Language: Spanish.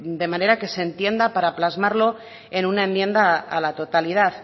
de manera que se entienda para plasmarlo en una enmienda a la totalidad